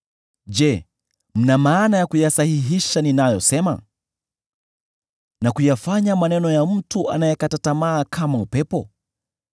Je, mna maana ya kuyasahihisha ninayosema, na kuyafanya maneno ya mtu anayekata tamaa kama upepo?